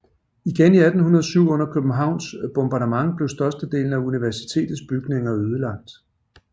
Igen i 1807 under Københavns bombardement blev størstedelen af universitetets bygninger ødelagt